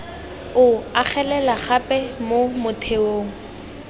o agelela gape mo motheong